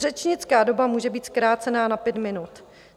Řečnická doba může být zkrácena na pět minut.